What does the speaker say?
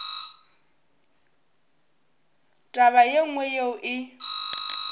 taba ye nngwe yeo e